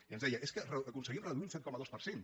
i ens deia és que aconseguim reduir un set coma dos per cent